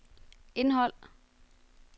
indhold